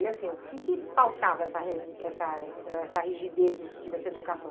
E assim, o que que pautava essa essa essa rigidez no sentido dessa educação?